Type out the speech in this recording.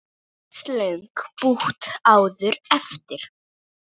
Hversu löng pútt áttirðu eftir?